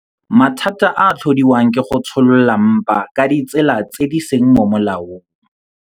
Mathata a a tlhodiwang ke go tsholola mpa ka ditsela tse di seng mo molaong